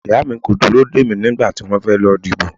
Ìyá mi kò dúró dè mí nígbà tí wọ́n fẹ́ lọ dìbò.